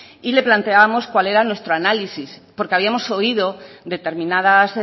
y le planteábamos cuál era nuestro análisis porque habíamos oído determinadas